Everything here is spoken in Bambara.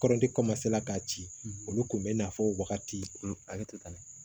Kɔrɔti kɔmasela k'a ci olu kun bɛ na fɔ wagati ale tɛ taa